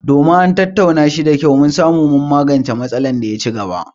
Domin an tattauna shi da kyau, mun samu magancen matsalar da ta ci gaba;